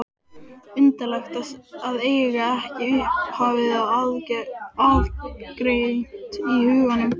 Undarlegt að eiga ekki upphafið aðgreint í huganum.